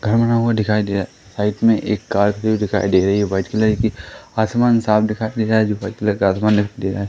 घर बना हुआ दिखाई दे रहा है साइड में एक कार भी दिखाई दे रही है व्हाइट कलर की आसमान साफ दिखाई दे रहा है जो व्हाइट कलर का आसमान दिखाई दे रहा है।